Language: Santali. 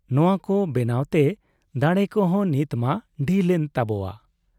ᱱᱚᱣᱟ ᱠᱚ ᱵᱮᱱᱟᱣ ᱛᱮ ᱰᱟᱲᱮ ᱠᱚᱦᱚᱸ ᱱᱤᱛᱢᱟ ᱰᱷᱤᱞ ᱮᱱ ᱛᱟᱵᱚᱣᱟ ᱾